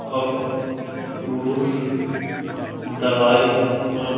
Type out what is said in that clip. और पुरुष दवाई और --